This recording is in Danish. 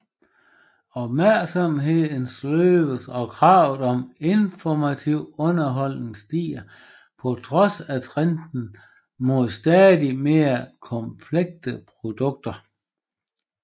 Opmærksomheden sløves og kravet om informativ underholdning stiger på trods af trenden mod stadig mere komplekse produkter